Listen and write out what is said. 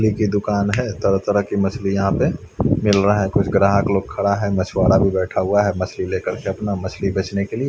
मछली की दुकान है तरह तरह की मछलिया यहाँ पे मिल रहा है कुछ ग्राहक लोग खड़ा है मछवारा भी बैठा हुआ है मछली ले कर अपना मछली बेचने के लिए।